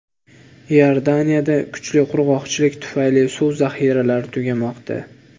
Iordaniyada kuchli qurg‘oqchilik tufayli suv zaxiralari tugamoqda.